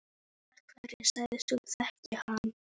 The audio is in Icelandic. Af hverju sagðist þú þekkja hann?